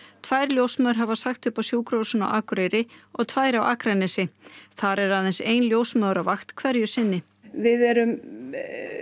tvær ljósmæður hafa sagt upp á sjúkrahúsinu á Akureyri og tvær á Akranesi þar er aðeins ein ljósmóðir á vakt hverju sinni við erum